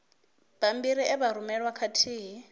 bammbiri e vha rumelwa khathihi